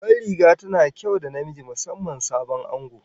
Babban riga tana kyau da namiji, musamman sabon ango